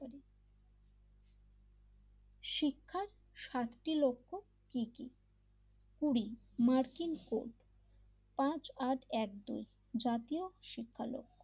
শিক্ষার সাতটি লক্ষ্য কি কি কুড়ি মার্কিন ফউরব পাঁচ আট এক দুই জাতীয় শিক্ষা লোক,